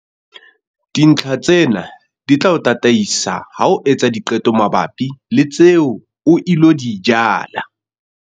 Dintlha tsena di tla o tataisa ha o etsa diqeto mabapi le tseo o ilo di jala.